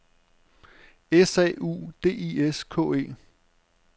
S A U D I S K E